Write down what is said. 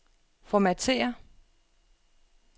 formatér